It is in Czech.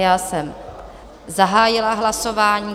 Já jsem zahájila hlasování.